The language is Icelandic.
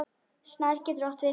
Snær getur átt við